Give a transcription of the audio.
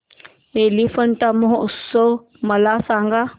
एलिफंटा महोत्सव मला सांग